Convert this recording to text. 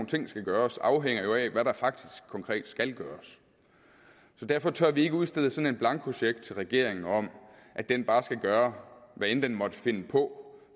ting skal gøres afhænger jo af hvad der faktisk konkret skal gøres så derfor tør vi ikke udstede sådan en blankocheck til regeringen om at den bare skal gøre hvad end den måtte finde på